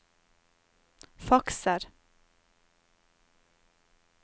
fakser